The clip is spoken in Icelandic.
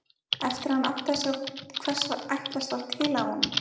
Eftir að hann áttaði sig á hvers ætlast var til af honum.